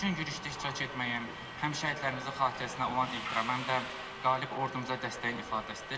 Bu gün yürüşdə iştirak etməyimiz həm şəhidlərimizin xatirəsinə olan ehtiram, həm də qalib ordumuza dəstəyin ifadəsidir.